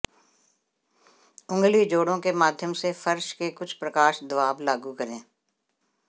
उंगली जोड़ों के माध्यम से फर्श के कुछ प्रकाश दबाव लागू करें